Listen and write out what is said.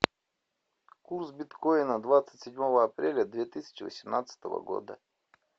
курс биткоина двадцать седьмого апреля две тысячи восемнадцатого года